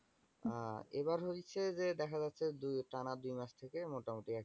আহ এইভাবে হচ্ছে যে দেখা যাচ্ছে যে টানা দুই মাস থেকে মোটামুটি একইরকম।